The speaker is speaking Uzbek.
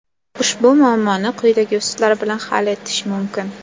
Ushbu muammoni quyidagi usullar bilan hal etish mumkin.